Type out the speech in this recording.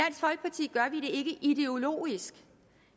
ikke ideologisk